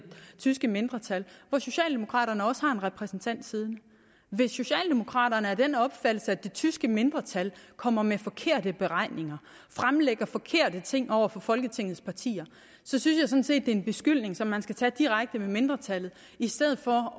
tyske mindretal i hvor socialdemokraterne også har en repræsentant siddende hvis socialdemokraterne er af den opfattelse at det tyske mindretal kommer med forkerte beregninger fremlægger forkerte ting over for folketingets partier så synes set det er en beskyldning som man skal tage direkte med mindretallet i stedet for